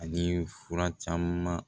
Ani fura caman